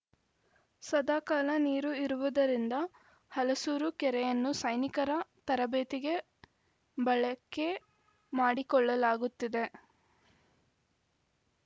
ಸದಾ ಕಾಲ ನೀರು ಇರುವುದರಿಂದ ಹಲಸೂರು ಕೆರೆಯನ್ನು ಸೈನಿಕರ ತರಬೇತಿಗೆ ಬಳಕೆ ಮಾಡಿಕೊಳ್ಳಲಾಗುತ್ತಿದೆ